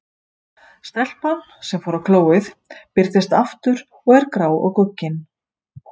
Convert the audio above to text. Stelpan, sem fór á klóið, birtist aftur og er grá og guggin.